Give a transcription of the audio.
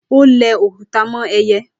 Ó ń lẹ òkúta mọ́ ẹyẹ.